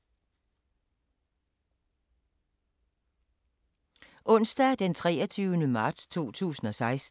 Onsdag d. 23. marts 2016